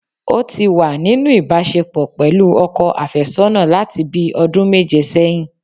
Ó tí wà nínú ìbásepọ̀ pẹ̀lú ọkọ àfésọ́nà láti bíi ọdún méje sẹ́yìn